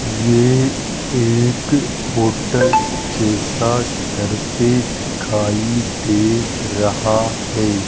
ये एक होटल जैसा दृश्य दिखाई दे रहा है।